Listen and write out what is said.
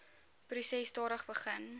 proses stadig begin